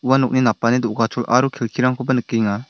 ua nokni napani do·gachol aro kelkirangkoba nikenga.